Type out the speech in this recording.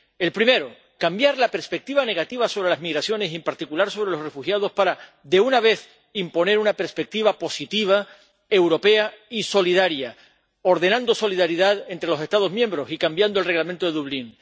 El primero, cambiar la perspectiva negativa sobre las migraciones y, en particular, sobre los refugiados para, de una vez, imponer una perspectiva positiva, europea y solidaria, ordenando solidaridad entre los Estados miembros y cambiando el Reglamento de Dublín.